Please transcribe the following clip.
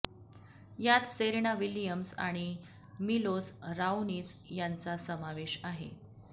यात Serena Williams आणि Milos Raonic यांचा समावेश आहे